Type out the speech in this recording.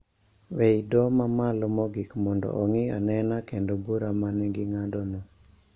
E I doho ma malo mogik mondo ong`i anena kendo bura ma ne ging`ado no